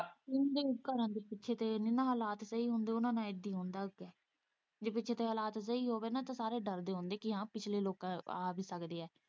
ਜਿੰਨ੍ਹਾਂ ਦੇ ਘਰਾਂ ਦੇ ਪਿੱਛੇ ਦੇ ਹਾਲਾਤ ਨੀ ਨਾ ਸਹੀ ਹੁੰਦੇ ਉਹਨਾਂ ਨਾਲ਼ ਇੱਦੇ ਹੁੰਦਾ ਫੇਰ ਜੇ ਪਿੱਛੇ ਦੇ ਹਾਲਾਤ ਸਹੀ ਹੋਵੇ ਨਾ ਤਾਂ ਸਾਰੇ ਡਰਦੇ ਹੁੰਦੇ ਕਿ ਹਾਂ ਪਿਛਲੇ ਲੋਕ ਆ ਵੀ ਸਕਦੇ ਏ।